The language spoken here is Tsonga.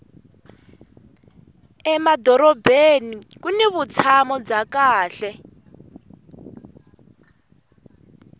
emadorobeni kuni vutshamo bya kahle